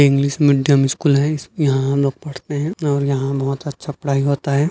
English medium school है यहाँ हमलोग पढ़ते है और यहाँ बहुत अच्छा पढ़ाई होता हैं।